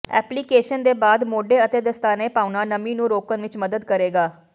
application ਦੇ ਬਾਅਦ ਮੋਢੇ ਅਤੇ ਦਸਤਾਨੇ ਪਾਉਣਾ ਨਮੀ ਨੂੰ ਰੋਕਣ ਵਿਚ ਮਦਦ ਕਰੇਗਾ